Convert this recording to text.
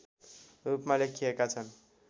रूपमा लेखिएका छन्